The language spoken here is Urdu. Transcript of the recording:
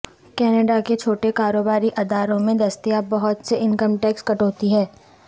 کینیڈا کے چھوٹے کاروباری اداروں میں دستیاب بہت سے انکم ٹیکس کٹوتی ہیں